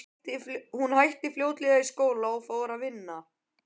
Hún hætti fljótlega í skóla og fór að vinna.